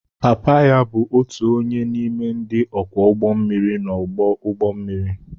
Papa ya bụ otu onye n'ime ndị ọkwọ ụgbọ mmiri n'ọdụ ụgbọ mmiri